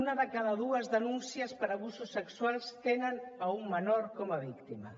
una de cada dues denúncies per abusos sexuals tenen un menor com a víctima